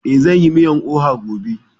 Eh, zan yi miyan oha gobe